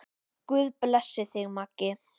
Guð blessi þig, Maggi.